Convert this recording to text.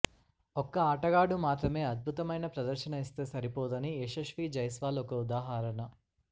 ఒక్క ఆటగాడు మాత్రమే అద్భుతమైన ప్రదర్శన ఇస్తే సరిపోదని యశస్వీ జైస్వాల్ ఒక ఉదాహరణ